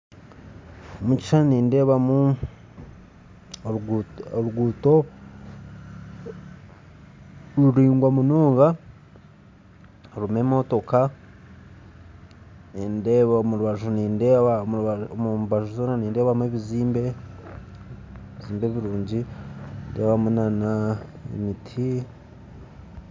Omu kishuushani nindeebamu oruguto ruraingwa munonga rurimu emotooka, omubanju zoona nindeebamu ebizimbe birungi n'emiiti